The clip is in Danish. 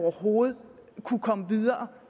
overhovedet kunne komme videre